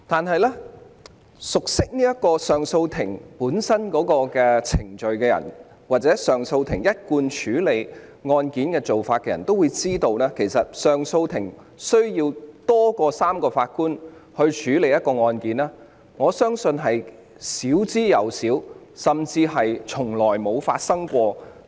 可是，熟悉上訴法庭程序或其一貫處理案件的做法的人都知道，上訴法庭需要多於3名法官處理案件的情況相當少，甚至從未發生。